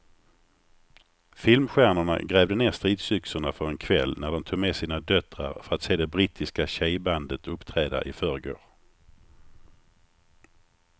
Filmstjärnorna grävde ned stridsyxorna för en kväll när de tog med sina döttrar för att se det brittiska tjejbandet uppträda i förrgår.